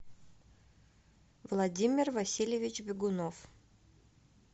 владимир васильевич бегунов